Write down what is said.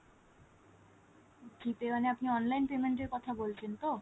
G pay মানে আপনি online payment এর কথা বলছেন তো ?